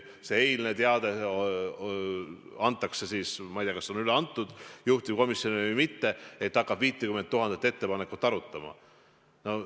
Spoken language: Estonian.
Kui see eilne teade antakse juhtivkomisjonile – ma ei tea, kas see on juba üle antud või mitte –, siis vaevalt et hakatakse 50 000 ettepanekut arutama.